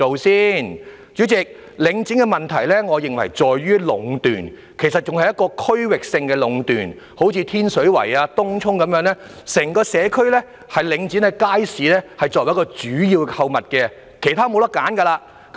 代理主席，我認為領展的問題在於壟斷，其實是區域性的壟斷，例如在天水圍和東涌，整個社區只有領展的街市是主要購物地點，別無他選。